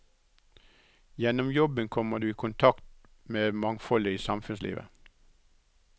Gjennom jobben kommer du i kontakt med mangfoldet i samfunnslivet.